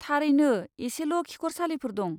थारैनो, एसेल' खिखरसालिफोर दं।